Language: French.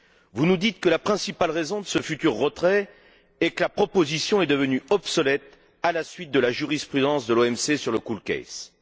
Vous nous dites que la principale raison de ce futur retrait est que la proposition est devenue obsolète, à la suite de la jurisprudence de l'OMC sur l'affaire COOL.